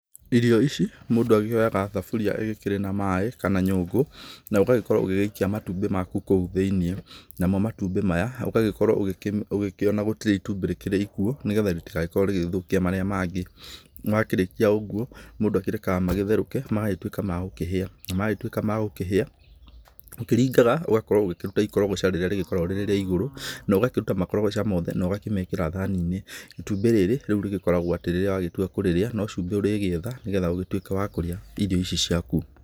Irio ici mũndũ akĩoyaga thaburia ĩgĩkĩrĩ maaĩ na kana nyũngũ na ũgagĩkorwo ũgĩgĩikia matumbĩ maku kũu thĩinĩ. Namo matumbĩ maya ũgagĩkorwo ũgĩkĩona gũtrirĩ itumbĩ rĩkĩrĩ ikuũ nĩ getha rĩtigagĩkorwo rĩgĩthũkia marĩa mangĩ. Wakĩrĩkia ,ũguo mũndũ akĩrekaga magĩtherũke magagĩtuĩka magũkĩhĩa, na magĩtuĩka ma gũkĩhĩa ũkĩringaga ũgakorwo ũkĩruta ikorogoca rĩrĩa rĩkoragwo rĩrĩ rĩa igũrũ na ũgakĩruta makorogoca mothe na ũgakĩmekĩra thani-inĩ. Itumbĩ rĩu rĩgĩkoragwo atĩ rĩrĩa wagĩtua kũrĩrĩa no cumbĩ ũrĩgĩetha nĩ getha ũgĩtuĩke wa kũrĩa irio ici ciaku.